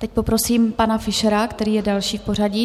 Teď poprosím pana Fischera, který je další v pořadí.